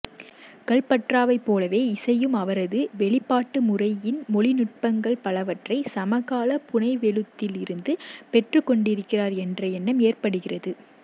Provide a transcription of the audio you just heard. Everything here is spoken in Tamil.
கல்பற்றாவை போலவே இசையும் அவரது வெளிப்பாட்டுமுறையின் மொழிநுட்பங்கள் பலவற்றை சமகால புனைவெழுத்தில் இருந்து பெற்றுக்கொண்டிருக்கிறார் என்ற எண்ணம் ஏற்படுகிறது